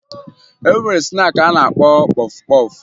E nwere snaakị a na-akpọ kpọfụ kpọfụ